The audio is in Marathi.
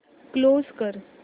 क्लोज कर